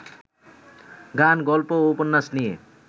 গান, গল্প ও উপন্যাস নিয়ে